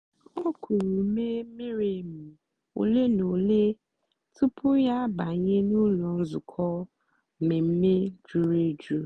o kùrù ùmè mìrí èmì òlé na òlé tupu ya àbànyè n'ụ́lọ́ nzukọ́ mmèmme jùrù èjù.